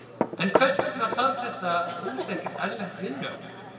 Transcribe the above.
En hvers vegna þarf þetta hús ekkert erlent vinnuafl?